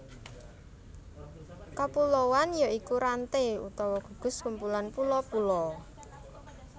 Kapuloan ya iku ranté utawa gugus kumpulan pulo pulo